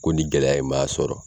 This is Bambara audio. Ko ni gɛlɛya ye maa sɔrɔ